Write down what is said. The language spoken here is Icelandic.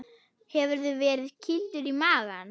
Hefurðu verið kýldur í magann?